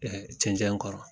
cɛncɛn kɔrɔ.